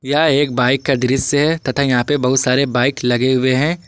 यह एक बाइक का दृश्य है तथा यहां पे बहुत सारे बाइक लगे हुए हैं।